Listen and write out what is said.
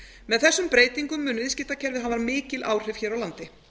með þessum breytingum mun viðskiptakerfið hafa mikil áhrif hér á landi